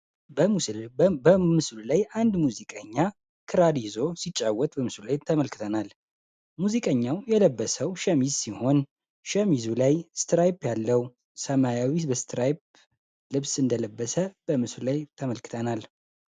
ተመልክተናል ሙዚቀኛው የለበሰው ሸሚዝ ሲሆን ሸምሱ ላይ ያለው ሰማያዊ ልብስ እንደለበሰ በምስሌ ተመልክተናል